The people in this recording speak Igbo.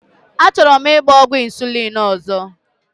Achọrọ m ịgba ọgwụ insulin ọzọ.